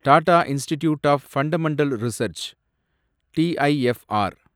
Tata Institute of Fundamental Research , TIFR